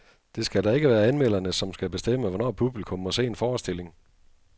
Det skal da ikke være anmelderne, som skal bestemme, hvornår publikum må se en forestilling.